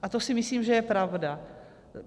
A to si myslím, že je pravda.